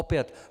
Opět.